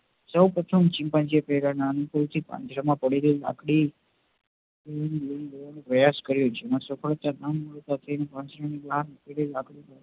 સૌ પ્રથમ chimpanzee એ પાંજરા માં પડી રહેલી નાની લાકડી થી પ્રયાસ કર્યો જેમાં સફળતા ના મળતા મોટી લાકડી